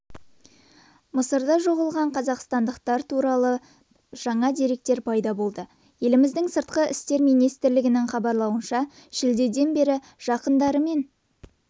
мысырда жоғалған қазақстандықтар туралы жаңа деректер пайда болды еліміздің сыртқы істер министрлігінің хабарлауынша шілдеден бері жақындарымен